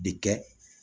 Bi kɛ